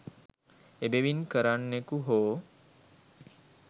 එබැවින් කරන්නෙකු හෝ